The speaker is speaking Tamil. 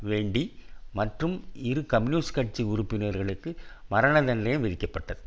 வேண்டி மற்றும் இரு கம்யூனிஸ்ட் கட்சி உறுப்பினர்களுக்கு மரண தண்டனை விதிக்கப்பட்டது